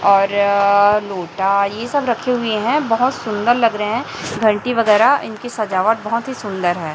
और लोटा ये सब रखे हुए है बहोत सुंदर लग रहे हैं घंटी वगैरा इनकी सजावट बहुत ही सुंदर है।